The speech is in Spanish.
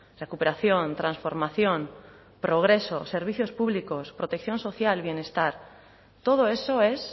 tienen recuperación transformación progreso servicios públicos protección social todo eso es